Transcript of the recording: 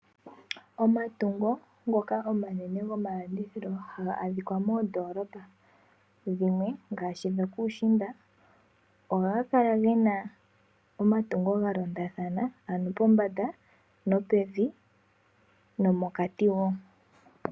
Omatungo ngoka omanene gomalandithilo haga adhika moondoolopa dhimwe ngaashi dhokuushimba. Ohadhi kala dhina omatungo ga londathana ano pombanda nopevi nomokati woo.